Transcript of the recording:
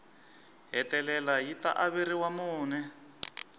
hetelela yi ta averiwa mune